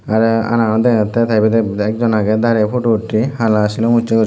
tarey anaganot degajattey ekjon aagey darey potu uttey hala silum ussey gori.